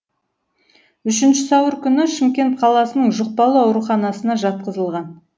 үшінші сәуір күні шымкент қаласының жұқпалы ауруханасына жатқызылған